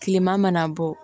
Kileman bɔ